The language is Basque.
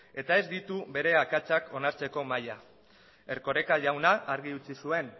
eta ez ditu bere akatsak onartzeko maila erkoreka jaunak argi utzi zuen